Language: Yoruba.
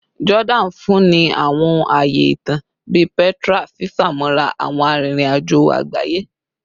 Jordani nfunni awọn aaye itan bii Petra, fifamọra awọn aririn ajo agbaye